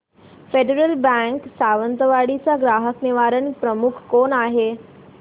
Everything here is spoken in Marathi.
फेडरल बँक सावंतवाडी चा ग्राहक निवारण प्रमुख कोण आहे